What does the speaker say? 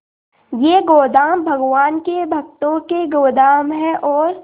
ये गोदाम भगवान के भक्तों के गोदाम है और